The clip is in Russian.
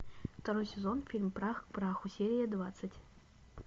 второй сезон фильм прах к праху серия двадцать